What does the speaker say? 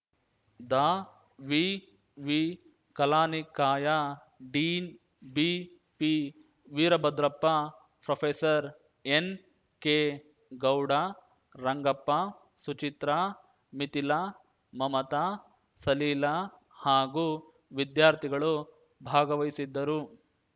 ದಾವಿವಿ ಕಲಾನಿಕಾಯ dean ಬಿಪಿವೀರಭದ್ರಪ್ಪ professor ಎನ್‌ಕೆಗೌಡ Rangappa Suchitra Mithila Mamata Salila ಹಾಗೂ ವಿದ್ಯಾರ್ಥಿಗಳು ಭಾಗವಹಿಸಿದ್ದರು